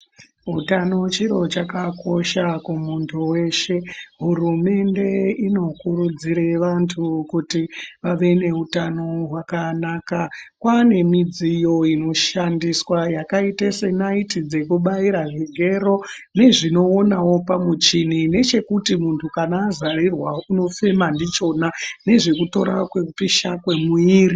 Utano chiro chakakosha kumuntu weshe. Hurumende inokurudzire vantu kuti vave neutano hwakanaka. Kwaane midziyo inoshandiswa yakaite senaiti dzekubaira, zvigero nezvinoonawo pamuchini ,nechekuti muntu azarirwa unofema ndichona ,nezvekutora kupisha kwemuiri.